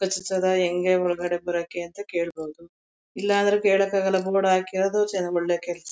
ಹೆಂಗೆ ಒಳ್ಗಡೆ ಬರೋಕೆ ಅಂತ ಕೇಳ್ಬಹುದು ಇಲ್ಲ ಅಂದ್ರೆ ಕೇಳೋಕಾಗಲ್ಲ ಜನ್ಗಳೂನ್ನ ಕೇಳ್ತಿ--